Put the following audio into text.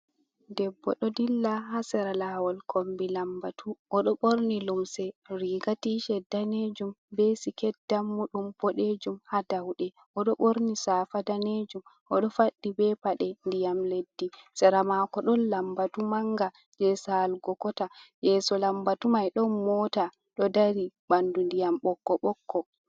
Debbo ɗo dilla haa sera laawol kombi lambatu, o ɗo ɓorni lumse riiga tiset daneejum be siket dammuɗum boɗeejum, haa dawɗe. O ɗo ɓorni safa daneejum, o ɗo faɗɗi be paɗe ndiyam leddi, sera maako ɗon lambatu mannga jey saalugo kota, yeeso lambatu may ɗon moota ɗo dari ɓanndu ndiyam ɓokko ɓokko.